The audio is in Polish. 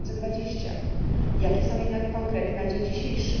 2020. Jakie są jednak konkrety na dzień dzisiejszy?